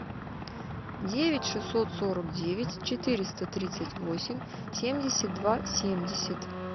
девять шестьсот сорок девять четыреста тридцать восемь семьдесят два семьдесят